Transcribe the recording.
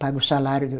Paga o salário.